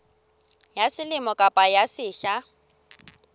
ya selemo kapa ya sehla